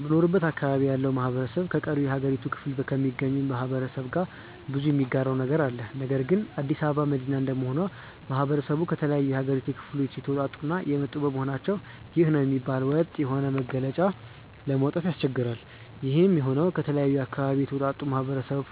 በምኖርበት አካባቢ ያለው ማህበረሰብ ከቀሪው የሀገሪቱ ክፍሎ ከሚገኘው ማህበረሰብ ጋር ብዙ የሚጋራው ነገር አለ። ነገር ግን አዲስ አበባ መዲና እንደመሆኑ ማህበረሰቡ ከተለያዩ የሀገሪቷ ክፍል የተወጣጡ እና የመጡ በመሆናቸው ይህ ነው የሚባል ወጥ የሆነ መገለጫ ለማውጣት ያስቸግራል። ይሄም የሆነው ከተለያየ አካባቢ የተውጣጣው ማህበረሰብ